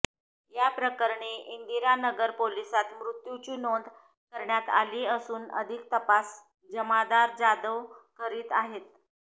याप्रकरणी इंदिरानगर पोलिसात मृत्युची नोंद करण्यात आली असून अधिक तपास जमादार जाधव करीत आहेत